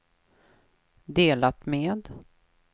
delat med